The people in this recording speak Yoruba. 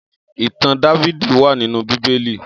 Itàn Dàvidi wà ninú Bibéli